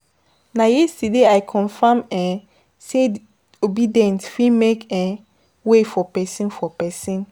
Na yesterday I confirm um sey obedient fit make um way for pesin. for pesin.